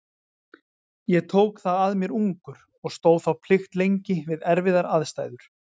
Ég tók það að mér ungur og stóð þá plikt lengi við erfiðar aðstæður.